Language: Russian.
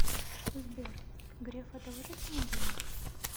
сбер греф одолжит мне денег